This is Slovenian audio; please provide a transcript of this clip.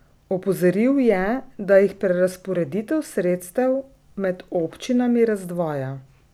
Opozoril je, da jih prerazporeditev sredstev med občinami razdvaja.